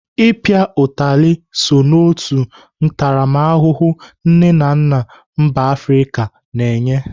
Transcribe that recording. I pịa utali so n'otu ntaramahụhụ nne na nna mba Afrịka na-enye.